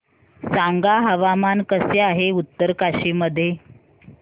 सांगा हवामान कसे आहे उत्तरकाशी मध्ये